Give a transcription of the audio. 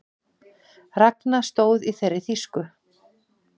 Ragna stóð í þeirri þýsku